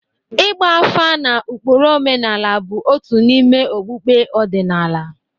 Ịgba afa na ụkpụrụ omenala bụ otu n'ime okpukpe ọdịnala.